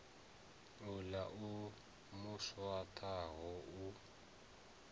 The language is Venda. uḽa o mu swaṱaho u